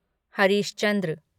Harish Chandra